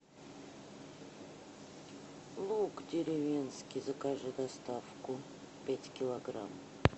лук деревенский закажи доставку пять килограмм